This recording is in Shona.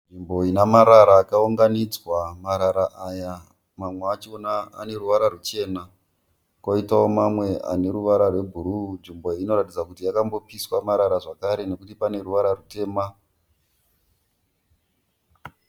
Nzvimbo inemarara akaunganidza , marara aya mamwe achona aneruvara ruchena, kuitawo mamwe aneruvara rwebhuruwu. Nzvimbo iyi inoratidza kuti yakambopiswa marara zvekare nekuti paneruvara rwutema.